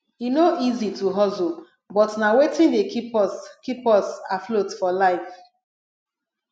e no easy to hustle but na wetin dey keep us keep us afloat for life